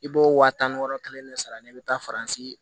I b'o wa tan ni wɔɔrɔ kelen de sara ne bɛ taa faransi